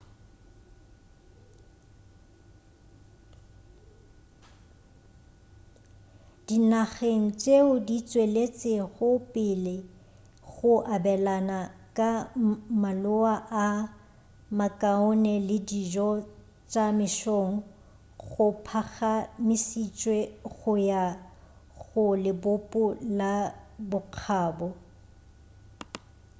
dinageng tšeo di tšweletšego pele go abelana ka maloa a makaone le dijo tša mesong go phagamišitšwe go ya go lebopo la bokgabo